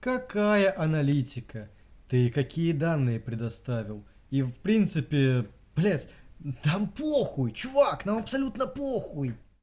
какая аналитика ты какие данные предоставил и в принципе блять нам похуй чувак нам абсолютно похуй